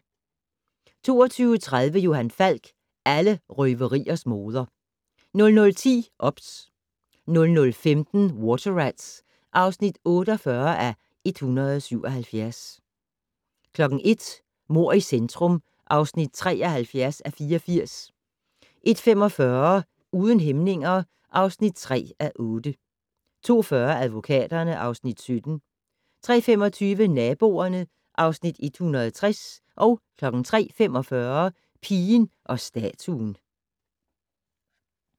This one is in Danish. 22:30: Johan Falk: Alle røveriers moder 00:10: OBS 00:15: Water Rats (48:177) 01:00: Mord i centrum (73:84) 01:45: Uden hæmninger (3:8) 02:40: Advokaterne (Afs. 17) 03:25: Naboerne (Afs. 160) 03:45: Pigen og statuen